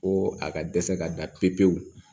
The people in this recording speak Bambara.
Ko a ka dɛsɛ ka da pepewu